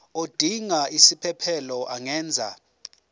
odinga isiphesphelo angenza